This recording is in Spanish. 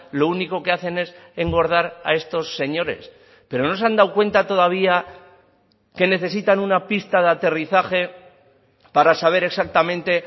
lo único que hacen es engordar a estos señores pero no se han dado cuenta todavía que necesitan una pista de aterrizaje para saber exactamente